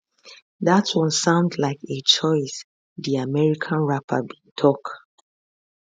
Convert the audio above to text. dat one sound like a choice di american rapper bin tok